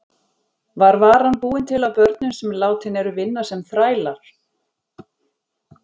Var varan búin til af börnum sem látin eru vinna sem þrælar?